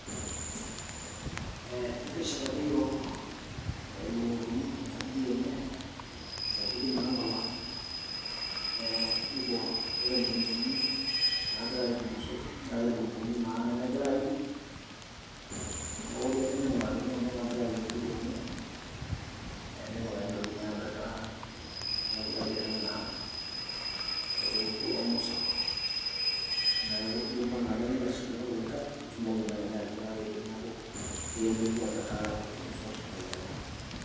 Eh ekishetaki iyiok ilukukuni inkajijik enye, sapukin nalala. Eh nikiwor, keetae ilukukuni nagira aiyiu irmosor , neetae ilukukuni naa nemegira aiyiu neori ake ningurakini kuna nagira aiyiu ewueji enye eh nepikakini intokitin napetaa ajo piilo aitereu naa, ore peeku kulo mosor . Neaku idumu enaake nilo aisudoo irkulikae , pitumoki naa kenya atipikaki teneaku keyieu nelotu apetaa irmosor lenyenak.